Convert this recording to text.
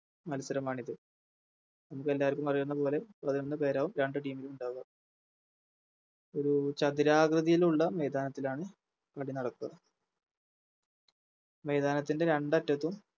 മത്സരമാണിത് നിങ്ങക്കെല്ലാവർക്കും അറിയുന്നപോലെ പതിനൊന്ന് പേരാവും രണ്ട് Team ലും ഉണ്ടാവുക ഒര് ചതുരാകൃതിയിലുള്ള മൈതാനത്തിലാണ് കളി നടക്കുക മൈതാനത്തിൻറെ രണ്ടറ്റത്തും